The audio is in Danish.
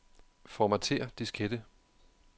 Formatér diskette.